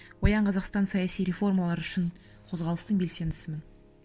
оян қазақстан саясы реформалар үшін қозғалыстың белсендісімін